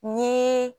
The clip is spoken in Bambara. Ni